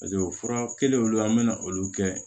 Paseke fura kelenw olu an bɛ na olu kɛ